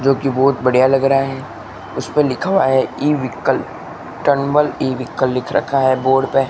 जो की बहोत बढ़िया लग रहा है उसपे लिखा हुआ है इ-व्हीकल टनवाल इ-व्हीकल लिख रखा है बोर्ड पे।